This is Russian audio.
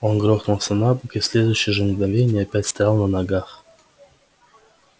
он грохнулся на бок и в следующее же мгновение опять стоял на ногах